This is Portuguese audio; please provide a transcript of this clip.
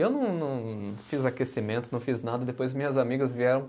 Eu não não, fiz aquecimento, não fiz nada, depois minhas amigas vieram